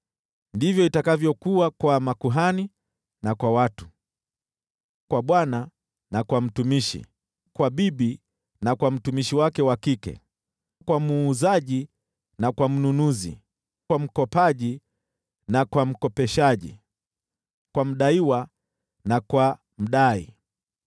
ndivyo itakavyokuwa kwa makuhani na kwa watu, kwa bwana na kwa mtumishi, kwa bibi na kwa mtumishi wake wa kike, kwa muuzaji na kwa mnunuzi, kwa mkopaji na kwa mkopeshaji, kwa mdaiwa na kwa mdai.